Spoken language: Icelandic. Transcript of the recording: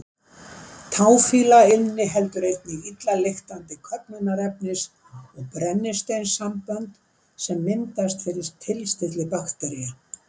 Táfýla inniheldur einnig illa lyktandi köfnunarefnis- og brennisteinssambönd sem myndast fyrir tilstilli baktería.